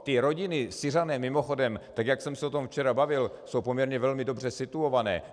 Ty rodiny, Syřané, mimochodem, tak jak jsem se o tom včera bavil, jsou poměrně velmi dobře situované.